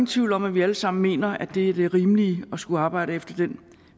tvivl om at vi alle sammen mener at det er det rimelige at skulle arbejde efter den